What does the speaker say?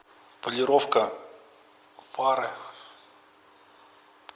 полировка фары